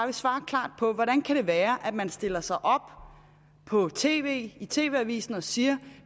at svare klart på hvordan det kan være at man stiller sig op på tv i tv avisen og siger